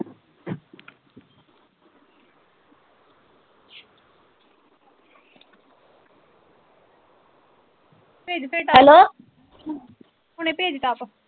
ਭੇਜ ਦੇ top hello, ਹੁਣੇ ਭੇਜ ਟੋਪ।